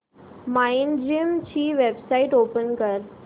Mindgym ची website open कर